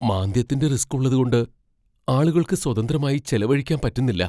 മാന്ദ്യത്തിന്റെ risk ഉള്ളത്കൊണ്ട് ആളുകൾക്ക് സ്വതന്ത്രമായി ചെലവഴിക്കാൻ പറ്റുന്നില്ല.